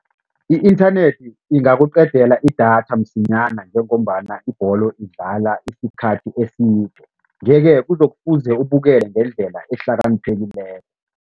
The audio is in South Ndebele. I-inthanethi ingakuqedela idatha msinyana njengombana ibholo idlala isikhathi eside yeke kuzokufuze ubukele ngendlela ehlakaniphekileko.